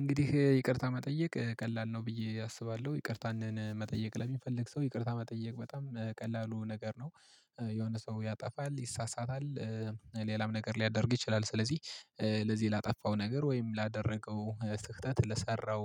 እንግዲህ ይቅርታ መጠየቅ ቀላል ነው ብዬ አስባለሁ። ይቅርታን መጠየቅ ለሚፈልግ ሰው ይቅርታ መጠየቅ በጣም ቀላሉ ነገር ነው። እንግዲህ ይቅርታ መጠየቅ ቀላል ነው ብዬ አስባለሁ። ይቅርታን መጠየቅ ለሚፈልግ ሰው ይቅርታ መጠየቅ በጣም ቀላሉ ነገር ነው። ለዚህ ላጠፋው ነገር ወይም ላደረገው ስህተት ለሰራው